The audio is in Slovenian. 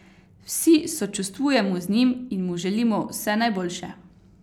Vsi sočustvujemo z njim in mu želimo vse najboljše.